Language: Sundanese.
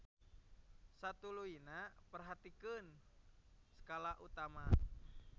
Satuluyna perhatikeun skala utama.